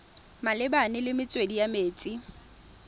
malebana le metswedi ya metsi